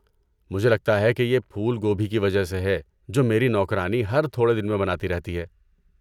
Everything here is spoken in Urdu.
مجھے لگتا ہے کہ یہ پھول گوبھی کی وجہ سے ہے جو میری نوکرانی ہر تھوڑے دن میں بناتی رہتی ہے۔